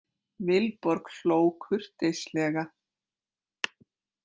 Vilborg hló kurteislega.